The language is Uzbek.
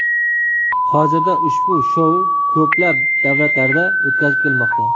Hozirda ushbu shou ko‘plab davlatlarda o‘tkazib kelinmoqda.